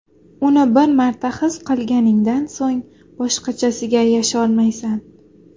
Uni bir marta his qilganingdan so‘ng, boshqachasiga yasholmaysan.